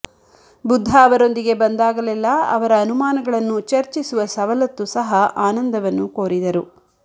ಬುದ್ಧ ಅವರೊಂದಿಗೆ ಬಂದಾಗಲೆಲ್ಲಾ ಅವರ ಅನುಮಾನಗಳನ್ನು ಚರ್ಚಿಸುವ ಸವಲತ್ತು ಸಹ ಆನಂದವನ್ನು ಕೋರಿದರು